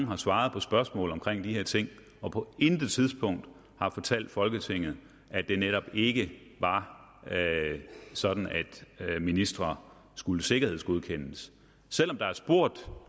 har svaret på spørgsmål om de her ting og på intet tidspunkt har fortalt folketinget at det netop ikke var sådan at ministre skulle sikkerhedsgodkendes selv om der blev spurgt